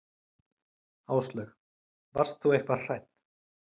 Áslaug: Varst þú eitthvað hrædd?